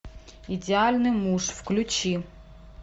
идеальный муж включи